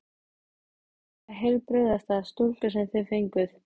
Þetta er bara heilbrigðasta stúlka sem þið fenguð.